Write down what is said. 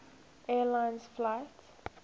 air lines flight